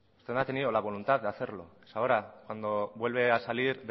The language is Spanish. usted no ha tenido la voluntad de hacerlo es ahora cuando vuelve a salir